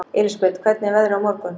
Elísabet, hvernig er veðrið á morgun?